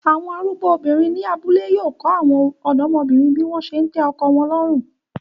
Awọn arugbo obinrin ni abule yóò kọ awọn ọdọmobinrin bi wọn se ńtẹ ọ̇kọ wọn lọrun